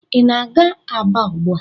Ị na-aga Aba ugbu a?